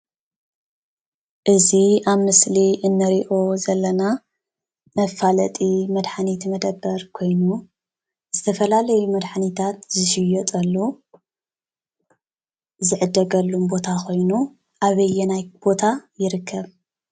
እዚ ኣብ ምስሊ ንሪኦ ዘለና መፋለጢ መድሓኒት መደብር ኮይኑ ዝተፈላለዩ መድሓኒታት ዝሽየጠሉ ዝዕደገሉን ቦታ ኮይኑ ኣበየናይ ቦታ ይርከብ?